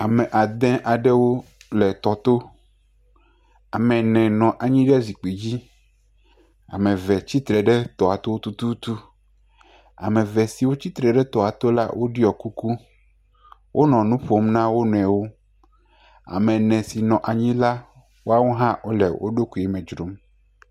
Ame ade aɖewo le tɔ to. Ame ene nɔ anyi ɖe zikpui dzi. Ame eve tsi tre ɖe tɔa to tututu. Ame eve si tsi tre ɖe toa to la ɖɔ kuku. Wonɔ nu ƒom na wonuiwo. Ame ene si nɔ anyi le wole woɖokui me dzrom.